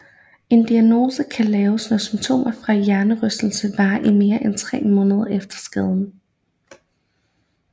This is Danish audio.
En diagnose kan laves når symptomer fra hjernerystelse varer i mere end tre måneder efter skaden